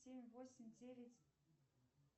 семь восемь девять